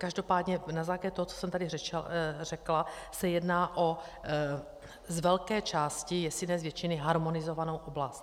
Každopádně na základě toho, co jsem tady řekla, se jedná z velké části, jestli ne z většiny, o harmonizovanou oblast.